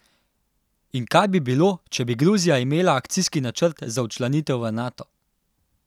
In kaj bi bilo, če bi Gruzija imela akcijski načrt za včlanitev v Nato?